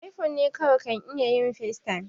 iphone ne kawai kan iya yin facetime